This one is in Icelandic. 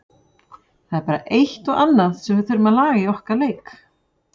Það er bara eitt og annað sem við þurfum að laga í okkar leik.